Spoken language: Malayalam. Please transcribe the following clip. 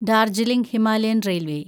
Darjeeling Himalayan railway